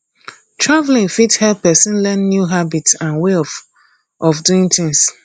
travelling fit help person learn new habits and way of of doing tins